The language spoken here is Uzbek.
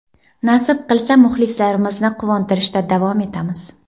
Nasib qilsa, muxlislarimizni quvontirishda davom etamiz.